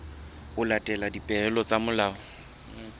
ho latela dipehelo tsa molao